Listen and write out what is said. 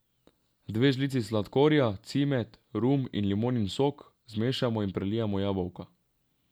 Dve žlici sladkorja, cimet, rum in limonin sok zmešamo in prelijemo jabolka.